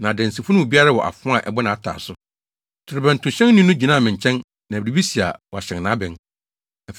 na adansifo no mu biara wɔ afoa a ɛbɔ nʼataaso. Torobɛntohyɛnni no gyinaa me nkyɛn, na biribi si a, wahyɛn nʼabɛn.